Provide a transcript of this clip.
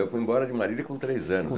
Eu fui embora de Marília com três anos.